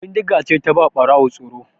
Bindiga ce ta ba wa Ɓarawo tsoro.